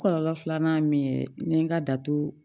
Kɔlɔlɔ filanan min ye n ye nka dato